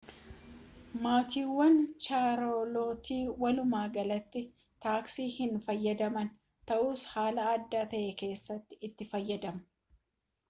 maatiiwwan chaarlootii walumaa galatti taaksii hin fayyadamaan ta'us haala addaa ta'e keessatti itti fayyadamuu